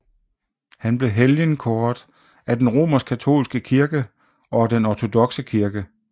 Han blev helgenkåret af den romerskkatolske kirke og af den ortodokse kirke